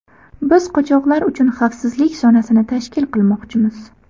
Biz qochoqlar uchun xavfsizlik zonasini tashkil qilmoqchimiz.